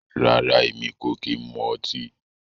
Rárá, Èmi kò kí ń mu ọtí